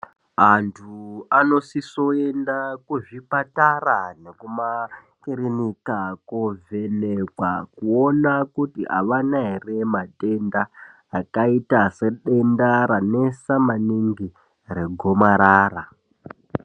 Anthu anosiso kuenda kuzvipatara nekumakirinika kovhenekwa kuona kuti avana ere matenda akaita sedenda ranesa maningi regomarara.